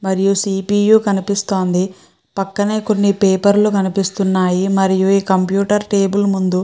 మరియు C P U కనిపిస్తుంది పక్కనే కొన్నిపేపర్ లు కనిపిస్తున్నాయి మరియు ఈ కంప్యూటర్ టేబుల్ ముందు--